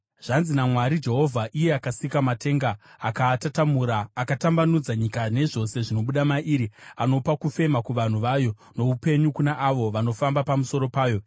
Zvanzi naMwari Jehovha, iye akasika matenga akaatatamura, akatambanudza nyika nezvose zvinobuda mairi, anopa kufema kuvanhu vayo, noupenyu kuna avo vanofamba pamusoro payo: